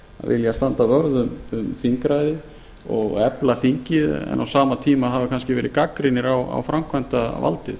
vilja standa vörð um þingræðið og efla þingið en á sama tíma hafa kannski verið gagnrýnir á framkvæmdarvaldið